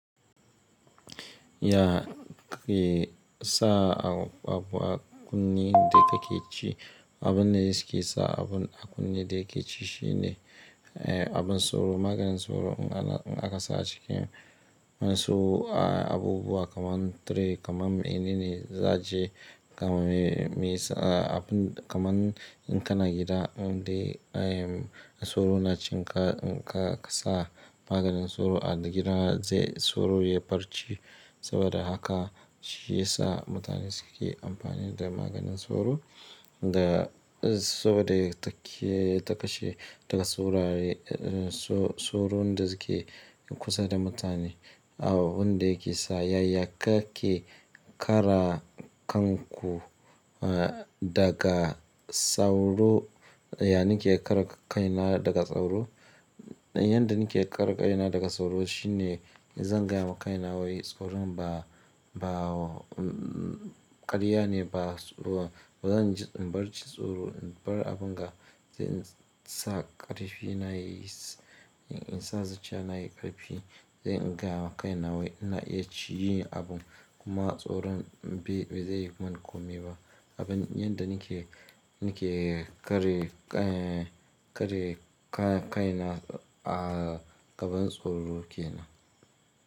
Ya ke sa abubuwa kunne da ka ci. Abin da yake sa abun a kunne da ka ci shine, eh, abin sauro, maganin sauro in aka sa a cikin sauro. Abubuwa kaman tire, kaman mene ne za ji kaman me, abun kaman in ka na gida, dai sauro na cikin ka, in ka sa maganin sauro a gida zai sauro ya bar ci. Saboda haka shi ya sa mutane suke amfani da maganin sauro. Da saboda yake ta kashe daga sauraye, so-sauro da suke kusa da mutane. Abin da yake sa ya yake kara kanku daga sauro, yana yake kara kaina daga sauro. Yanda nake ƙara kaina daga sauro shine, zan gaya ma kaina wai tsoron ba, ba karya ne ba, bazan bar ci tsoro, in bar abun ga ze sa ƙarfi nayi, in sa zacciya nayi ƙarfi. Zai in gaya ma kaina wai ina iya ci yi abun kuma tsoron bai zai yi mun komai ba. Abin yanda nake, nake kare, eh, kare ka-kaina a gaban tsoro kenan.